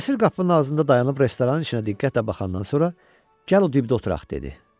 Nəsir qapının ağzında dayanıb restoranın içinə diqqətlə baxandan sonra gəl o dibdə oturaq dedi.